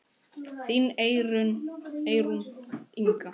Þín Eyrún Inga.